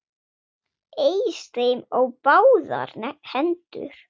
Eys þeim á báðar hendur!